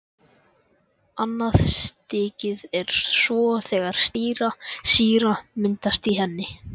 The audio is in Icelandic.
Annað stigið er svo þegar sýra myndast í henni.